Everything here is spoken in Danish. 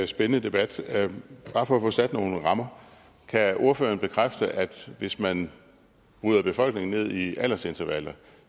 spændende debat bare for at få sat nogle rammer kan ordføreren så bekræfte at hvis man bryder befolkningen ned i aldersintervaller